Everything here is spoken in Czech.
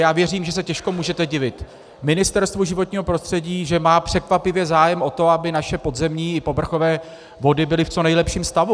Já věřím, že se těžko můžete divit Ministerstvu životního prostředí, že má překvapivě zájem o to, aby naše podzemní i povrchové vody byly v co nejlepším stavu.